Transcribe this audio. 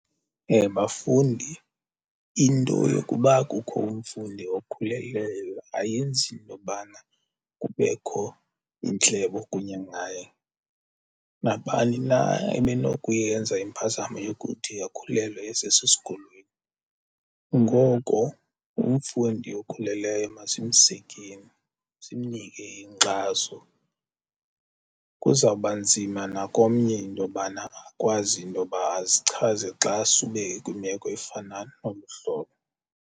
Bafundi into yokuba kukho umfundi okhulelweyo ayenzi nto bana kubekho iintlebo kunye ngaye. Mabani na ebenokuyenza impazamo yokuthi akhulelwe esesesikolweni. Ngoko umfundi okhulelweyo masimsekeni simnike inkxaso. Kuzawuba nzima nakomnye intobana akwazi intoba azichaze xa sube ekwimeko efana nolu hlobo.